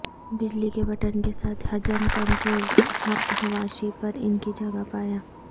بجلی کے بٹن کے ساتھ حجم کنٹرول حق حواشی پر ان کی جگہ پایا